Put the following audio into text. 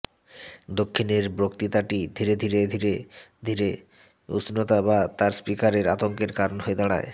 দক্ষিণের বক্তৃতাটি ধীরে ধীরে ধীরে ধীরে উষ্ণতা বা তার স্পিকারের আতঙ্কের কারণ হয়ে দাঁড়ায়